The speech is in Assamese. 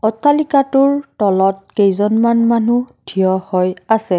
অট্টালিকাটোৰ তলত কেইজনমান মানুহ থিয় হৈ আছে।